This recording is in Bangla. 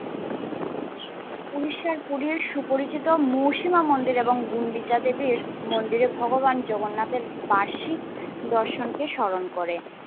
উড়িষ্যার পুরীর সুপরিচিত মহুসীমা মন্দির এবং গন্ডিতা দেবের মন্দিরে ভগবান জগন্নাথের বার্ষিক নিদর্শনকে স্মরণ করে।